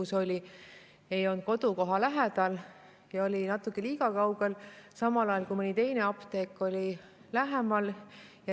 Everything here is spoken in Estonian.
Selline apteek on natuke liiga kaugel, samal ajal kui nii-öelda tavaline apteek on lähemal.